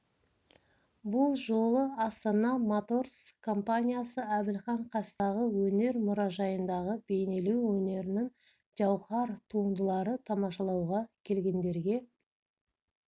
бұл жолы астана моторс компаниясы әбілхан қастееев атындағы өнер мұражайындағы бейнелеу өнерінің жауһар туындыларын тамашалауға келгендерге